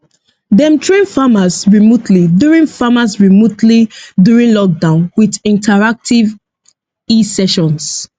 dem train farmers remotely during farmers remotely during lockdown with interactive esessions